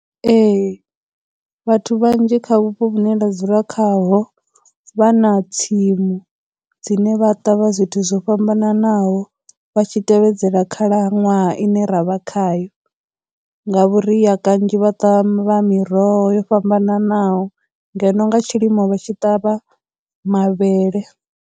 Ee, vhathu vhanzhi kha vhupo vhune nda dzula khaho, vha na tsimu dzine vha ṱavha zwithu zwo fhambananaho vha tshi tevhedzela khakhalaṅwaha ine ra vha khayo, nga vhuria kanzhi vha ṱavha miroho yo fhambananaho ngeno nga tshilimo vha tshi ṱavha mavhele.